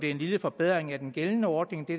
er en lille forbedring af den gældende ordning det